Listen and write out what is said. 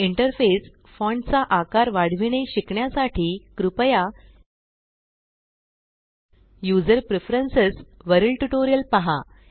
interface font चा आकार वाढविणे शिकण्यासाठी कृपया यूज़र प्रिफरेन्सस वरील ट्यूटोरियल पहा